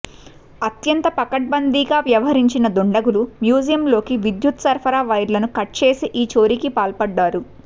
అత్యంత పకడ్బందీగా వ్యవహరించిన దుండగులు మ్యూజియంలోకి విద్యుత్ సరఫరా వైర్ను కట్చేసి ఈ చోరీకి పాల్పడ్డారు